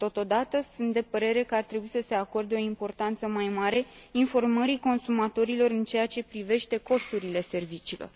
Totodată, sunt de părere că ar trebui să se acorde o importanță mai mare informării consumatorilor în ceea ce privește costurile serviciilor.